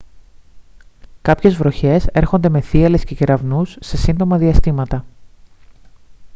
κάποιες βροχές έρχονται με θύελλες και κεραυνούς σε σύντομα διαστήματα